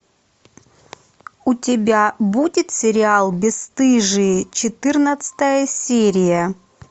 у тебя будет сериал бесстыжие четырнадцатая серия